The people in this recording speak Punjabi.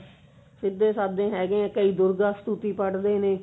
ਸਿੱਧੇ ਸਾਧੇ ਹੈਗੇ ਹਾਂ ਕਈ ਪੜਦੇ ਨੇ